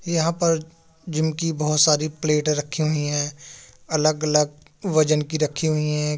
यहाँ पर जिम की बोहोत सारी प्लेटें रखी हुई हैं। अलग अलग वजन की रखी हुइ हैं।